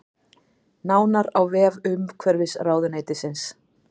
Nánar á vef umhverfisráðuneytisins